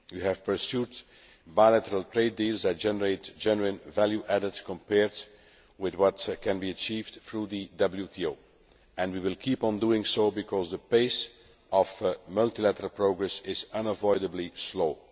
We have pursued bilateral trade deals that generate genuine value added compared with what can be achieved through the WTO, and we will keep on doing so because the pace of multilateral progress is unavoidably slow.